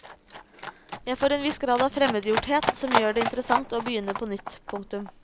Jeg får en viss grad av fremmedgjorthet som gjør det interessant å begynne på nytt. punktum